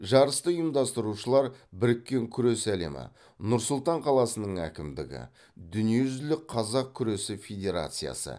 жарысты ұйымдастырушылар біріккен күрес әлемі нұр сұлтан қаласының әкімдігі дүниежүзілік қазақ күресі федерациясы